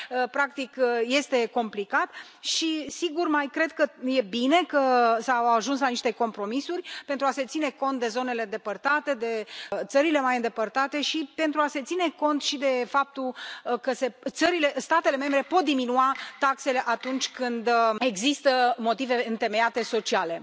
Practic, este complicat și, sigur, mai cred că e bine că s a ajuns la niște compromisuri pentru a se ține cont de zonele depărtate, de țările mai îndepărtate și pentru a se ține cont și de faptul că statele membre pot diminua taxele atunci când există motive întemeiate sociale.